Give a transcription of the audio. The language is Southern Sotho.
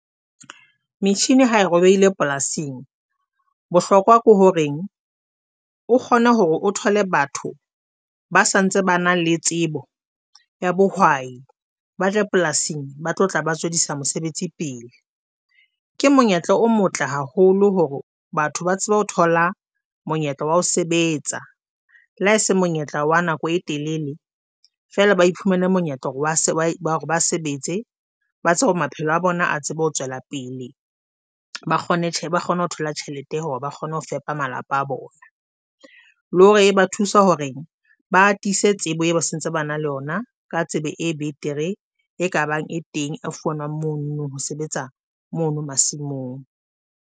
Machine ha e robehile polasing, Bohlokwa ke horeng o kgone hore o thole batho ba sa ntse ba na le tsebo ya bohwai ba tle polasing ba tlo tla ba tswedisa mosebetsi pele. Ke monyetla o motle haholo hore batho ba tsebe ho thola monyetla wa ho sebetsa, le ha se monyetla wa nako e telele feela. Baiphumele monyetla hore ba sebetse ba tsebe hore maphelo a bona a tsebe ho tswela pele. Ba kgone tje, ba kgone ho thola tjhelete hore ba kgone ho fepa malapa a bona, le hore ba thusa hore ba tiise tsebo e sentse, ba na le yona ka tsebe e betere e ka bang e teng a fumanwang mono ho sebetsa mono masimong.